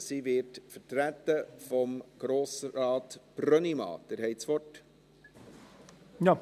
Sie wird von Grossrat Brönnimann vertreten.